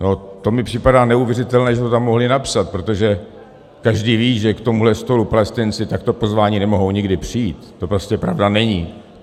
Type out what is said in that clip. No to mi připadá neuvěřitelné, že to tam mohli napsat, protože každý ví, že k tomuhle stolu Palestinci takto pozváni nemohou nikdy přijít, to prostě pravda není.